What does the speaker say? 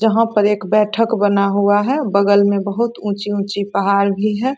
जहां पर एक बैठक बना हुआ है बगल मे बहुत उंची-उंची पहाड़ भी है।